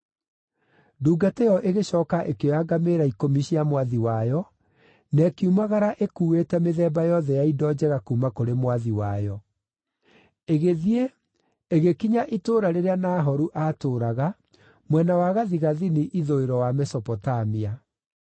Ndungata ĩyo ĩgĩcooka ĩkĩoya ngamĩĩra ikũmi cia mwathi wayo na ĩkiumagara ĩkuĩte mĩthemba yothe ya indo njega kuuma kũrĩ mwathi wayo. Ĩgĩthiĩ ĩgĩkinya itũũra rĩrĩa Nahoru aatũũraga mwena wa gathigathini-ithũĩro wa Mesopotamia.